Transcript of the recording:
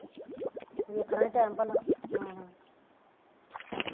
ਵੇਖਣਾ ਹੀ time ਭਲਾ